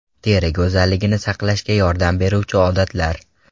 Teri go‘zalligini saqlashga yordam beruvchi odatlar.